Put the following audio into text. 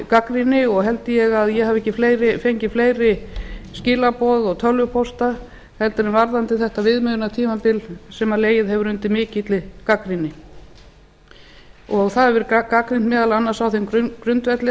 gagnrýni og held ég að ég hafi ekki fengið fleiri skilaboð og tölvupósta heldur en varðandi þetta viðmiðunartímabil sem legið hefur undir mikilli gagnrýni það hefur verið gagnrýnt meðal annars á þeim grundvelli að